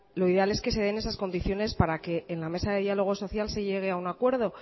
lo ideal es que se den esas condiciones para que en la mesa de diálogo social se llegue a un acuerdo